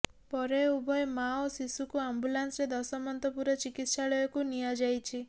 ପରେ ଉଭୟ ମାଆ ଓ ଶିଶୁକୁ ଆମ୍ବୁଲାନ୍ସରେ ଦଶମନ୍ତପୁର ଚିକିତ୍ସାଳୟକୁ ନିଆଯାଇଛି